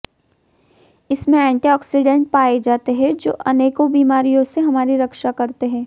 इसमें एंटीऑक्सीडेंट पाए जाते हैं जो अनकों बीमारियों से हमारी रक्षा करते हैं